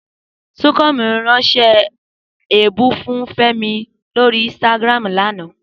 Súnkànmí ránṣẹ́ èébú sí Fẹ́mi lórí Instagram lánàá